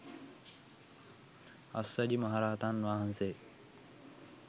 අස්සජි මහරහතන් වහන්සේ